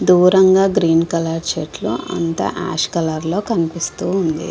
దూరంగా green colour చెట్లు అంతా ఆష్ కలర్ లో కనిపిస్తుంది.